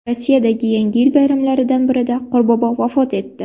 Rossiyadagi Yangi yil bayramlaridan birida Qorbobo vafot etdi.